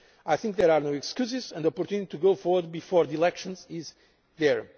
produce results. I think there are no excuses, and the opportunity to go forward before the elections